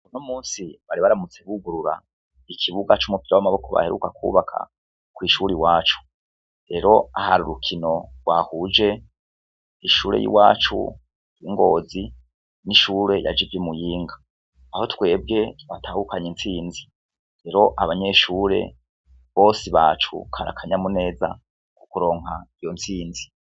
Uno munsi, bari baramutse bugurura ikibuga c'umupira w'amaboko baheruka kwubaka kw'ishure iwacu. Rero hari urukino rwahuje ishure y'iwacu i Ngozi n'ishure yaje iva i Muyinga. Aho twebwe twatahukanye intsinzi. Rero, abanyeshure bose bacu kari akanyamuneza kuronka iyo ntsinzi.